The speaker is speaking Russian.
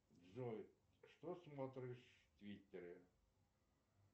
джой что смотришь в твиттере